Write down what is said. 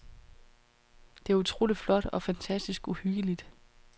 Det er utroligt flot og fantastisk uhyggeligt.